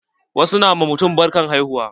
Wasu na ma mutum barkan haihuwa.